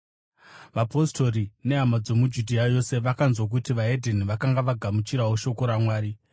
Vapostori nehama dzomuJudhea yose vakanzwa kuti vedzimwe ndudzi vakanga vagamuchirawo shoko raMwari.